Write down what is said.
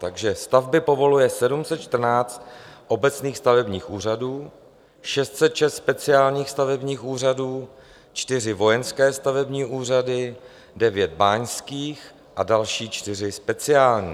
Takže stavby povoluje 714 obecních stavebních úřadů, 606 speciálních stavebních úřadů, 4 vojenské stavební úřady, 9 báňských a další 4 speciální.